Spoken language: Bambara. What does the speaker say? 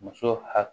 Muso hakili